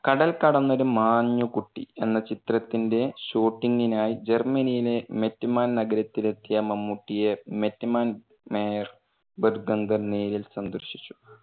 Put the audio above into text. കടൽ കടന്നൊരു മാഞ്ഞുകുട്ടി എന്ന ചിത്രത്തിന്റെ ഷൂട്ടിങ്ങിനായി ജർമനിയിലേ മെറ്റ്മാൻ ന്ഗരത്തിലെത്തിയ മമ്മൂട്ടിയെ മെറ്റ്മാൻ mayor നേരിൽ സന്ദർശിച്ചു.